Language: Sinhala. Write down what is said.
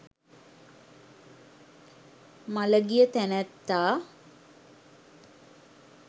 මළගිය තැනැත්තා